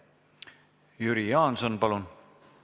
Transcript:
Jüri Jaanson, palun!